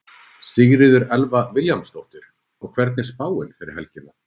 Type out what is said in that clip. Sigríður Elva Vilhjálmsdóttir: Og hvernig er spáin fyrir helgina?